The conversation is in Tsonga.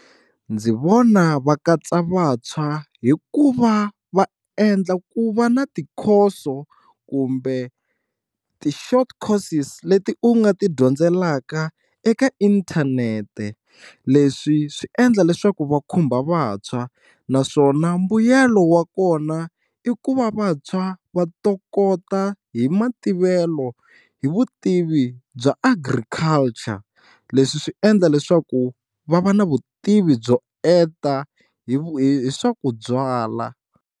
Ndzi vona va katsa vantshwa hi ku va va endla ku va na tikhoso kumbe ti-short courses leti u nga ti dyondzelaka eka inthanete, leswi swi endla leswaku va khumba vantshwa naswona mbuyelo wa kona i ku va vantshwa va to kota hi mativelo hi vutivi bya Agriculture leswi swi endla leswaku va va na vutivi byo enta hi hi swa ku byala.